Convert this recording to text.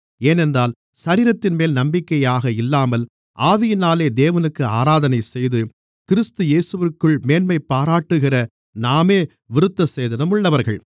ஏனென்றால் சரீரத்தின்மேல் நம்பிக்கையாக இல்லாமல் ஆவியினாலே தேவனுக்கு ஆராதனைசெய்து கிறிஸ்து இயேசுவிற்குள் மேன்மைபாராட்டுகிற நாமே விருத்தசேதனமுள்ளவர்கள்